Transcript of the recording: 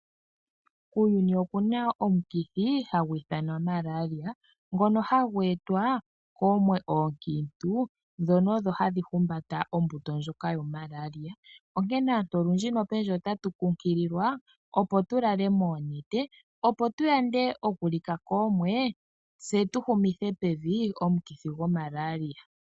Kuuyuni oku na omukithi hagu ithanwa Malaria ngono hagu etwa koomwe oonkintu dhono odho hadhi humbata ombuto ndjoka yo Malaria. Onkene aantu olundji nopendji ota tu kunkililwa opo tu lale moonete opo tu yande okulika koomwe, tse tu humithe pevi omukithi go Malaria.